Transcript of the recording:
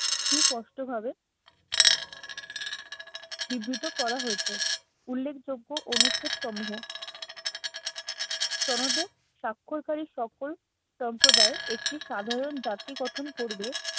সুস্পষ্টভাবে নিভৃত করা হয়েছে উল্লেখযোগ্য অনুচ্ছেদ সমূহ সনদের স্বাক্ষরকারীর সকল সম্প্রদায় একটি সাধারন জাতি গঠন করবে